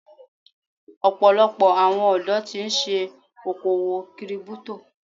Ọ̀pọ̀lọpọ̀ àwọn ọ̀dọ́ tí ń ṣe okòwò Kírípútò.